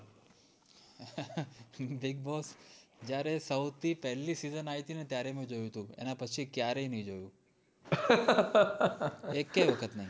bigboss જયારે સોઉં થી પેલી season આય થી ત્યારે મેં જોયું તું એના પછી ક્યારેય નઈ જોયું એકેય વખત નય